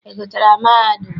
Ị gụchaara mahadum?